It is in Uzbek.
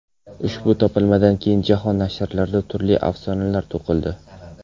Ushbu topilmadan keyin jahon nashrlarida turli afsonalar to‘qildi.